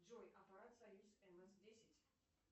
джой аппарат союз мс десять